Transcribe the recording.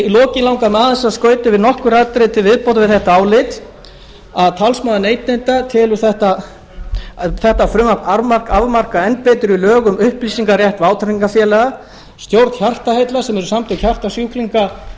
í lokin langar mig aðeins að skauta yfir nokkur atriði til viðbótar við þetta álit talsmaður neytenda telur þetta frumvarp afmarka enn betri lög um upplýsingarétt vátrygingafélaga stjórn hjartaheilla sem eru samtök hjartasjúklinga